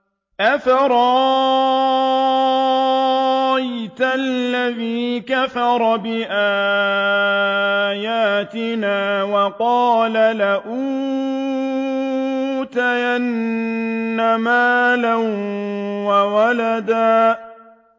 أَفَرَأَيْتَ الَّذِي كَفَرَ بِآيَاتِنَا وَقَالَ لَأُوتَيَنَّ مَالًا وَوَلَدًا